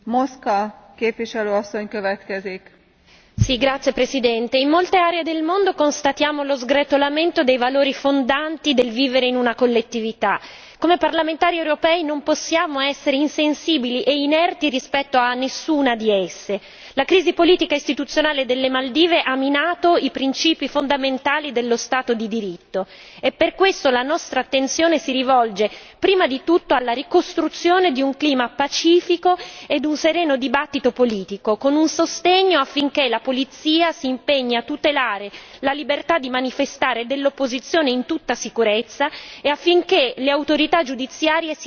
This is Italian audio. Signora Presidente, onorevoli colleghi, in molte aree del mondo constatiamo lo sgretolamento dei valori fondanti del vivere in una collettività, come parlamentari europei non possiamo essere insensibili e inerti rispetto a nessuna di esse. La crisi politica e istituzionale delle Maldive ha minato i principi fondamentali dello Stato di diritto e per questo la nostra attenzione si rivolge prima di tutto alla ricostruzione di un clima pacifico ed un sereno dibattito politico, con un sostegno affinché la polizia si impegni a tutelare la libertà di manifestare dell'opposizione in tutta sicurezza e affinché le autorità giudiziarie siano depoliticizzate.